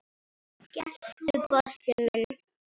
geltu, Bósi minn!